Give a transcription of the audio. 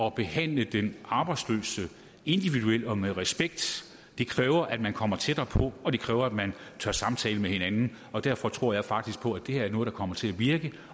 at behandle den arbejdsløse individuelt og med respekt kræver at man kommer tættere på og kræver at man tør tale med hinanden derfor tror jeg faktisk på at det her er noget der kommer til at virke